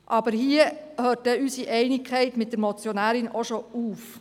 Hier hört jedoch unsere Einigkeit mit der Motionärin bereits auf.